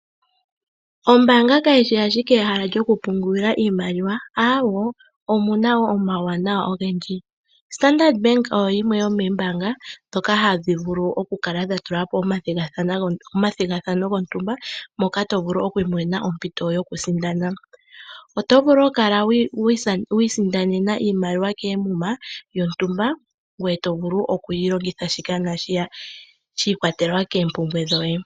Ombaanga kayishi owala ehala lyokupungula iimaliwa, aawo omuna wo omauwanawa ogendji. Standard bank oyo yimwe yomoombanga ndhoka hadhi vulu okutula po omathigathano mono to vulu oku isindanena oshinima shontumba. Oto vulu oku isindanena iimaliwa koomuma ngoye toyi longitha shika nashiyaka shi ikwatelela koompumbwe dhoye.